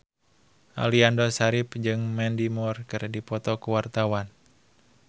Aliando Syarif jeung Mandy Moore keur dipoto ku wartawan